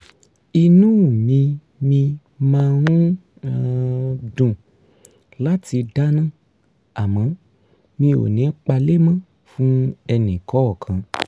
inú mi mi máa ń um dùn láti dáná àmọ́ mi ò ní palémọ́ fún ẹni kọọkan